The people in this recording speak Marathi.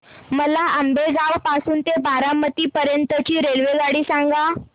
मला आंबेगाव पासून तर बारामती पर्यंत ची रेल्वेगाडी सांगा